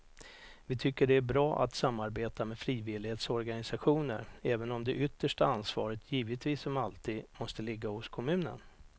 Vi tycker att det är bra att samarbeta med frivillighetsorganisationer även om det yttersta ansvaret givetvis som alltid måste ligga hos kommunen.